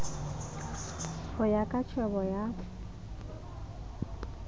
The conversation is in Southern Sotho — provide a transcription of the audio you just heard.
ho ya ka tjhebo ya